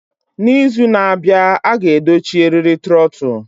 N'izu na-abịa, a ga-edochi eriri trotul.